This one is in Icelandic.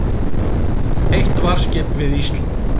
Eitt varðskip við Ísland